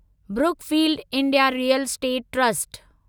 Brookfield India Real Estate trust